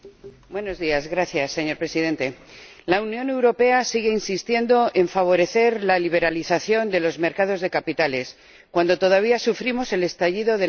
Señor Presidente, la Unión Europea sigue insistiendo en favorecer la liberalización de los mercados de capitales, cuando todavía sufrimos el estallido de la crisis financiera.